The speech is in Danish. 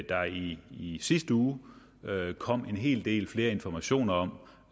der i i sidste uge kom en hel del flere informationer om